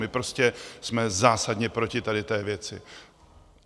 My prostě jsme zásadně proti tady té věci!